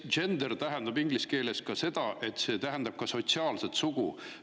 Gender tähendab inglise keeles, et ka sotsiaalset sugu.